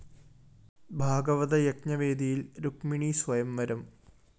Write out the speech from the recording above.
ഭാഗവത യജ്ഞവേദിയില്‍ രുക്മിണീ സ്വയംവരം